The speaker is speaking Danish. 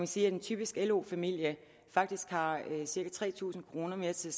sige at en typisk lo familie faktisk har cirka tre tusind kroner mere til